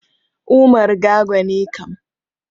Umar Gago ne kam.